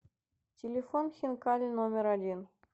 телефон хинкали номер один